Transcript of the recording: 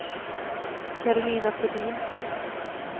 Karolina Flodin